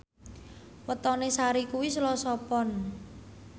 wetone Sari kuwi Selasa Pon